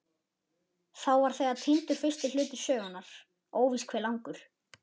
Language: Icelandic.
Þá var þegar týndur fyrsti hluti sögunnar, óvíst hve langur.